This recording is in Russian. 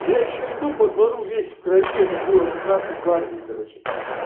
я ещё иду по двору весь в крови это было на красной гвардии короче